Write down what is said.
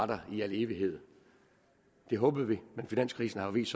der i al evighed det håbede vi men finanskrisen har vist